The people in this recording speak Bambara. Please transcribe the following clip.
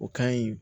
O ka ɲi